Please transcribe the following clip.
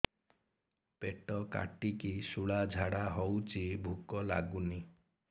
ପେଟ କାଟିକି ଶୂଳା ଝାଡ଼ା ହଉଚି ଭୁକ ଲାଗୁନି